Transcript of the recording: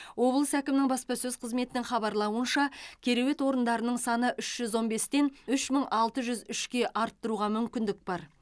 облыс әкімінің баспасөз қызметінің хабарлауынша кереует орындарының саны үш жүз он бестен үш мың алты жүз үшке арттыруға мүмкіндік бар